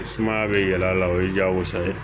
Sumaya bɛ yɛlɛ a la o ye diyagosa ye